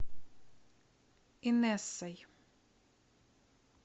инессой